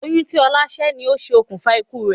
Oyún tí ọlá sẹ́ ni ó ṣe okùnfà ikú rẹ̀